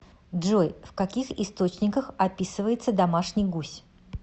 джой в каких источниках описывается домашний гусь